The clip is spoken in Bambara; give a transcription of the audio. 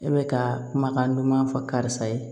E bɛ ka kumakan duman fɔ karisa ye